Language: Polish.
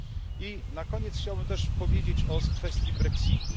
I na koniec chciałbym też powiedzieć o kwestii brexitu.